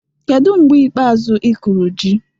Kedu mgbe ikpeazụ ị kụrụ ji?